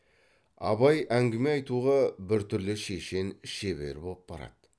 абай әңгіме айтуға бір түрлі шешен шебер боп барады